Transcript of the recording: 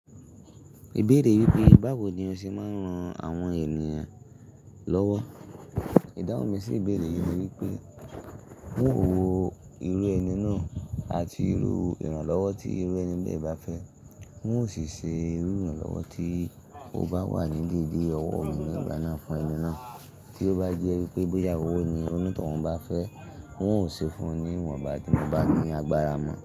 Ìbéèrè bí i báwo ni o ṣe máa ń ran àwọn ènìyàn lọ́wọ́? Ìdáhùn mi sí ìbéèrè yí ni wípé, un ó wo irú ẹni ná àti irú ìrànlọ́wọ́ tí ẹni ná bá fẹ́. Un ó sì ṣe irú ìrànlọ́wọ́ tó bá wà ní dédé ọwọ́ mi nígbàná fún ẹni ná. Tí ó bá jẹ́ wípé bóyá owó ni oní towun bá fẹ́, un ó ṣe fún wọn ní iwanba tí mo lágbára mọ.